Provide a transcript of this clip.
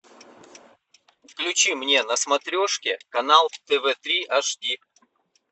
включи мне на смотрешке канал тв три аш ди